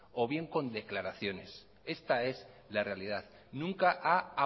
o bien con declaraciones esta es la realidad nunca ha